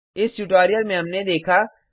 इस ट्यूटोरियल में हमने देखा